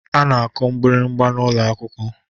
A na-akụ mgbịrịgba n'ụlọ akwụkwọ